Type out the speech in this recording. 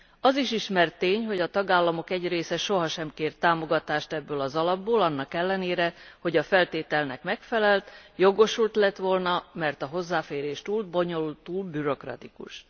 Az is ismert tény, hogy a tagállamok egy része soha nem kért támogatást ebből az alapból annak ellenére, hogy a feltételnek megfelelt, jogosult lett volna, mert a hozzáférés túl bonyolult, túl bürokratikus.